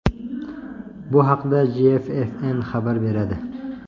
Bu haqda GFFN xabar beradi .